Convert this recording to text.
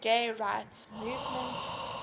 gay rights movement